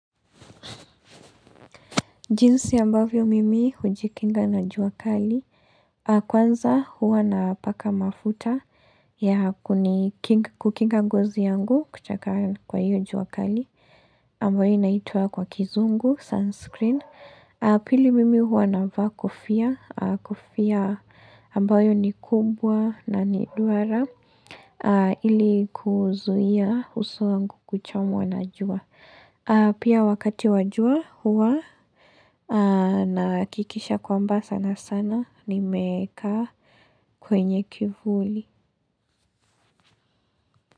Jinsi ambavyo mimi hujikinga na jua kali. Kwanza huwa napaka mafuta ya kukinga ngozi yangu kuchakara kwa hiyo jua kali. Ambayo inaitwa kwa kizungu sunscreen. Pili mimi huwa navaa kofia. Kofia ambayo ni kubwa na ni duara. Ili kuzuia uso wangu kuchomwa na jua. Pia wakati wa jua huwa nahakikisha kwamba sana sana nimekaa kwenye kivuli.